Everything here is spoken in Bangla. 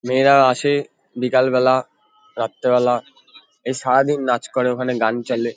মেয়েরা আসে বিকালবেলা রাত্রেবেলা। এ সারাদিন নাচ করে ওখানে গান চালে।